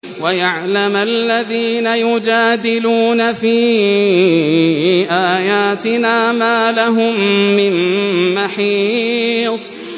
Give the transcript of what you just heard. وَيَعْلَمَ الَّذِينَ يُجَادِلُونَ فِي آيَاتِنَا مَا لَهُم مِّن مَّحِيصٍ